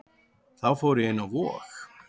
Þá fór ég inn á Vog.